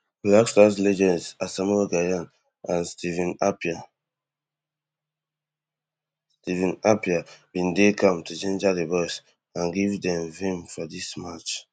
black stars legends asamoah gyan and stephen appiah stephen appiah bin dey camp to ginger di boys and give dem vim for dis match